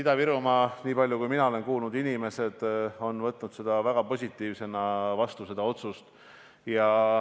Ida-Virumaa inimesed, niipalju kui mina olen kuulnud, on võtnud selle otsuse vastu väga positiivselt.